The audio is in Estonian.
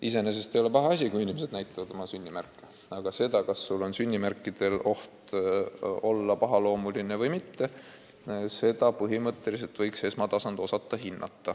Iseenesest ei ole paha, kui inimesed näitavad oma sünnimärke, aga seda, kas sünnimärk võib olla pahaloomuline, võiks osata hinnata perearst.